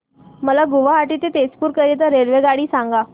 मला गुवाहाटी ते तेजपुर करीता रेल्वेगाडी सांगा